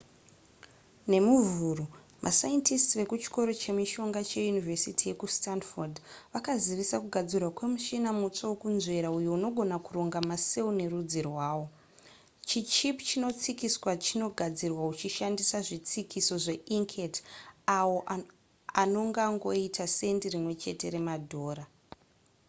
nemuvhuru mascientists vekuchikoro chemishonga che yunivhesiti yekustanford vakazivisa kugadzirwa kwe muchina mutsva wekunzvera uyo unogona kuronga macell nerudzi arwo chi chip chinotsikiswa chinogadzirwa uchishandisa zvitsikiso zveinkhet awo anongangoita sendi rimwe chete remadhora